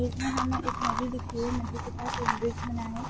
Bridge में हम एक नदी के पास एक ब्रिज बना है।